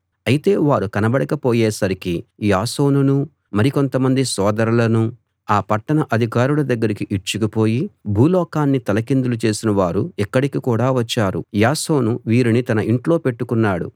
అయితే వారు కనబడక పోయేసరికి యాసోనునూ మరి కొంతమంది సోదరులనూ ఆ పట్టణ అధికారుల దగ్గరికి ఈడ్చుకుపోయి భూలోకాన్ని తలకిందులు చేసిన వారు ఇక్కడికి కూడా వచ్చారు యాసోను వీరిని తన ఇంట్లో పెట్టుకున్నాడు